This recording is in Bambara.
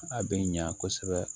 A bɛ ɲa kosɛbɛ